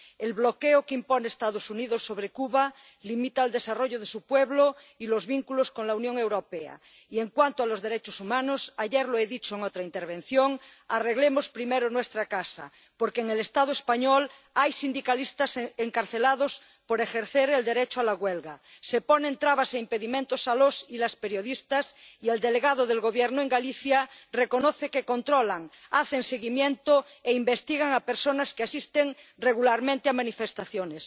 El bloqueo que impone Estados Unidos sobre Cuba limita el desarrollo de su pueblo y los vínculos con la Unión Europea y, en cuanto a los derechos humanos —ayer lo he dicho en otra intervención—, arreglemos primero nuestra casa, porque en el Estado español hay sindicalistas encarcelados por ejercer el derecho a la huelga, se ponen trabas e impedimentos a los y las periodistas y el delegado del Gobierno en Galicia reconoce que controlan, hacen seguimiento e investigan a personas que asisten regularmente a manifestaciones.